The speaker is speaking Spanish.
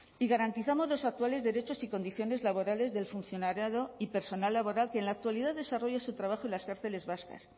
y garantizamos los actuales derechos y condiciones laborales del funcionariado y personal laboral que en la actualidad desarrolla su trabajo en las cárceles vascas